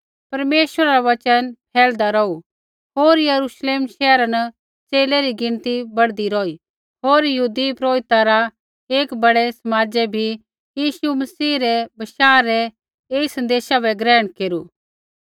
परमेश्वरा रा वचन फैलदा रौहू होर यरूश्लेम शैहरा न च़ेले री गिणती बढ़दी रौही होर यहूदी पुरोहिता रा एक बड़ै समाजै बी यीशु मसीह रै बशाह रै ऐई सन्देशा बै ग्रहण केरू